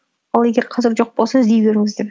ал егер қазір жоқ болса іздей беріңіздер